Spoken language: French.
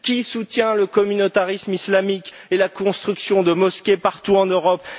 Qui soutient le communautarisme islamique et la construction de mosquées partout en Europe?